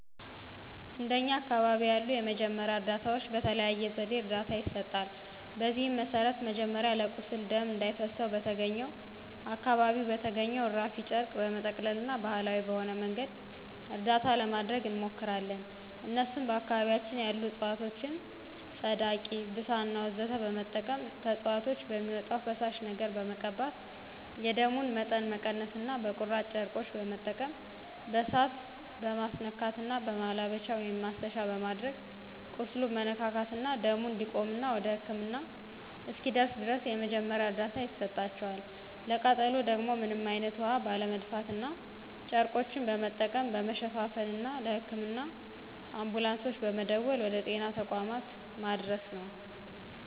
እንደኛ አካባቢ ያሉ የመጀመሪያ እርዳታዎች በተለያየ ዘዴ እርዳታ ይሰጣል። በዚህም መሰረት መጀመሪያ ለቁስል ደም እንዳይፈሰው በተገኘውና አካባቢው በተገኘው እራፊ ጨርቅ በመጠቅለልና ባሀላዊ በሆነ መንገድ እርዳታ ለማድረግ እንሞክራለን እነሱም በአካባቢያችን ያሉ እፅዋቶችን ፀዳቂ፣ ብሳና ወዘተ በመጠቀም ከእፅዋቶች በሚወጣው ፈሳሽ ነገር በመቀባት የደሙን መጠን መቀነስና በቁራጭ ጨርቆች በመጠቀም በእሳት መማስነካትና በማላበቻ(ማሰሻ)በማድረግ ቁስሉን መነካካትና ደሙ እንዲቆምና ወደ ህክምና እስኪደርስ ድረስ የመጀመሪያ እርዳታ ይሰጣቸዋል፣ ለቃጠሎ ደግሞ ምንም አይነት ውሀ ባለመድፋትና ጨርቆችን በመጠቀም መሸፋፈንና ለህክምና አንቡላንሶች በመደወል ወደ ጤና ተቋማት ማድረስ ነው።